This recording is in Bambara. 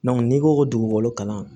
n'i ko ko dugukolo kalan